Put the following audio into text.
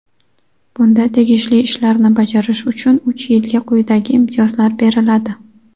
Bunda tegishli ishlarni bajarish uchun uch yilga quyidagi imtiyozlar beriladi:.